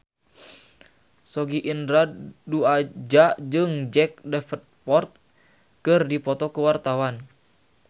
Sogi Indra Duaja jeung Jack Davenport keur dipoto ku wartawan